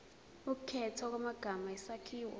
ukukhethwa kwamagama isakhiwo